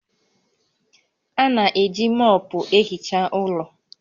A na-eji mọọpụ ehicha ụlọ